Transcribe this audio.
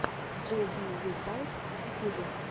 джей би ю балб в ютубе